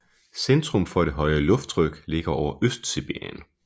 Centrum for det høje lufttryk ligger over Østsibirien